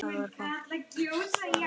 Það var fallegt par.